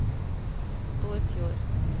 Storfjord